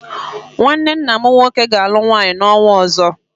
Nnwanne nna m nwoke ga-alụ nwaanyị n'ọnwa ọzọ.